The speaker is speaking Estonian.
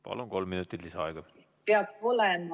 Palun, kolm minutit lisaaega!